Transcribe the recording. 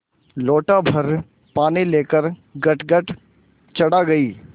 लोटाभर पानी लेकर गटगट चढ़ा गई